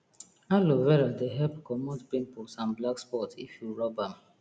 aloe vera dey help commot pimples and black spot if you rub am